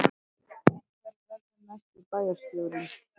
En hver verður næsti bæjarstjóri?